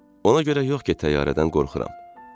Ona görə yox ki, təyyarədən qorxuram.